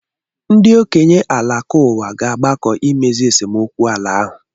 Ndị okenye Alakuwa ga-agbakọ imezi esemokwu ala ahụ.